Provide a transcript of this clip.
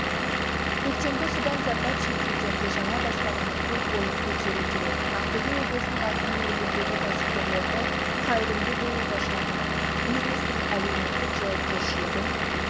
көктемгі судан зардап шеккендерге жаңа баспананы көп болып көтеру керек ақтөбе облысының әкімі өңірдегі кәсіпкерлерді қайырымды болуға шақырып бизнестің әлеуметтік жауапкершілігін